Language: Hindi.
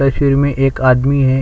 तस्वीर में एक आदमी है |